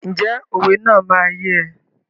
Ǹjẹ́ òwe náà máa yé ẹ?